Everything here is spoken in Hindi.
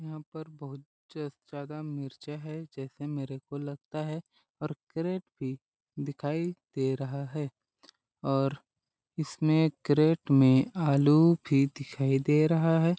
यहाँ पर बहुत ज ज्यादा मिर्चा है जैसे मेरे को लगता है और कैरेट भी दिखाई दे रहा है और इसमें करेट में आलू भी दिखाई दे रहा है।